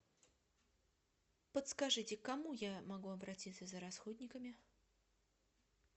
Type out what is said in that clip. подскажите к кому я могу обратиться за расходниками